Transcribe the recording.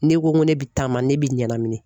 Ne ko n ko ne be taama ne bi ɲanamini